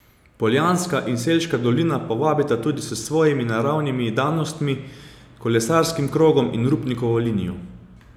Poljanska in Selška dolina pa vabita tudi s svojimi naravnimi danostmi, kolesarskim krogom in Rupnikovo linijo.